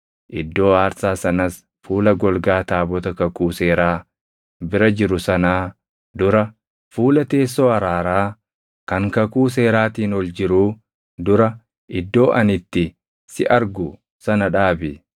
Iddoo aarsaa sanas fuula golgaa taabota kakuu seeraa bira jiru sanaa dura, fuula teessoo araaraa kan kakuu seeraatiin ol jiruu dura iddoo ani itti si argu sana dhaabi.